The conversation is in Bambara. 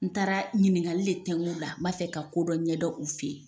N taara ɲiningali le tenku ula n b'a fɛ ka kodɔn ɲɛdɔn u fe yen